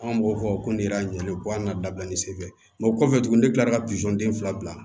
An b'o fɔ ko ne y'a ɲɛ ko an ka dabila ni senfɛ o kɔfɛ tuguni ne kilara ka den fila bila